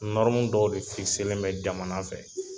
Nɔrɔmu dɔw de fikiselen bɛ jamana fɛ